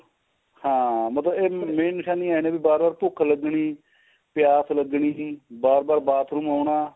ਹਾਂ ਮਤਲਬ ਇਹ main ਨਿਸ਼ਾਨੀ ਇਹ ਨੇ ਵੀ ਬਾਰ ਬਾਰ ਭੁੱਖ ਲੱਗਣੀ ਪਿਆਸ ਲੱਗਣੀ ਬਾਰ ਬਾਰ bathroom ਆਉਣਾ